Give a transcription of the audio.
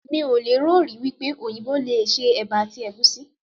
Mí ò lè rò rí wípé òyìnbó yìí le se Ẹ̀bà àti Ẹ̀gúsí.